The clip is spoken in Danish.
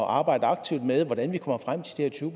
arbejde aktivt med hvordan vi kommer frem til de her tyve